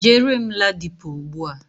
Jere m Ladipo ugbua.